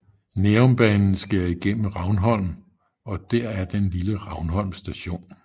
Nærumbanen skærer igennem Ravnholm og der er den lille Ravnholm Station